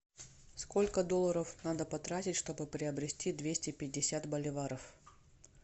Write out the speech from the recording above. сколько долларов надо потратить чтобы приобрести двести пятьдесят боливаров